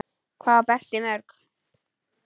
Hvað á Berti mörg?